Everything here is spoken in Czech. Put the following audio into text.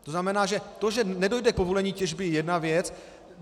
To znamená, že to, že nedojde k povolení těžby, je jedna věc.